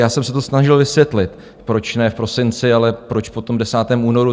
Já jsem se to snažil vysvětlit, proč ne v prosinci, ale proč po tom 10. únoru.